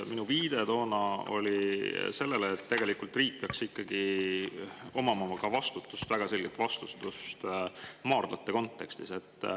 Minu viide toona oli sellele, et tegelikult riik peaks ikkagi väga selgelt vastutama maardlate kontekstis.